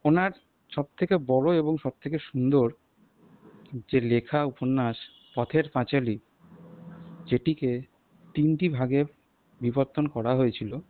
ওনার সবথেকে বড় এবং সবথেকে সুন্দর যে লেখা উপন্যাস পথের পাঁচালি যেটিকে তিনটি ভাগে বিভতন করা হয়েছিল